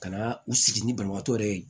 Ka na u sigi ni banabaatɔ yɛrɛ ye